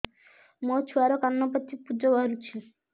ମୋ ଛୁଆର କାନ ପାଚି ପୁଜ ବାହାରୁଛି